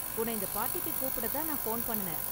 உன்ன இந்த பார்ட்டிக்கு கூப்பிட தான் நான் ஃபோன் பண்ணுனேன்.